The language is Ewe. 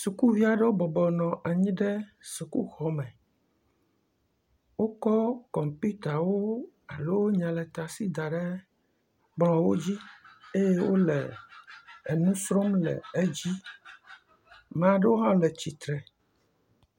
Sukuvi aɖewo bɔbɔ nɔ anyi ɖe sukuxɔme wokɔ kɔmpuitawo alo nyaletasi daɖe kplɔwo dzi ye wole nusrɔm le edzi ame aɖewo ha le titre